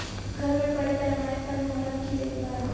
گھر میں بڑے پیمانے پر محرم کی دیکھ بھال